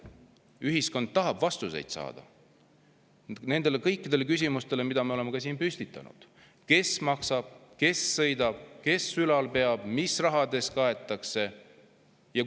Ühiskond tahab vastuseid saada kõikidele nendele küsimustele, mida me oleme ka siin püstitanud: kes maksab, kes sõidab, kes ülal peab, mis raha eest kaetakse?